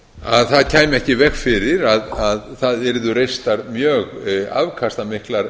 að það kæmi ekki í veg fyrir að það yrðu reistar mjög afkastamiklar